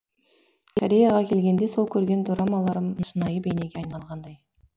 кореяға келгенде сол көрген дорамаларым шынайы бейнеге айналғандай